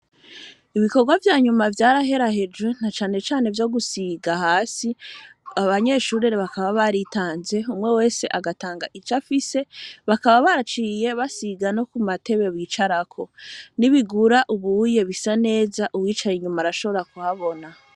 Ibikorwa vya nyuma vyarahera hejwe nta canecane vyo gusiga hasi abanyeshurere bakaba baritanze umwe wese agatanga ico afise bakaba baciye basiga no ku matebe bicarako nibigura ubuye bisa neza uwicaye inyuma arashobora kuhabona.